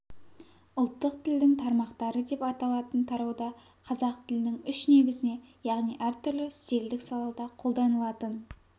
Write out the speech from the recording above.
ұлттық тілдің тармақтары деп аталатын тарауда қазақ тілінің үш негізіне яғни әр түрлі стилдік салада қолданылатын